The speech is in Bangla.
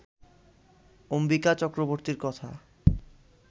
অম্বিকা চক্রবর্তীর কথা